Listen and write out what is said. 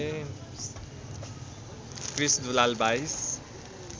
Krrish Dulal २२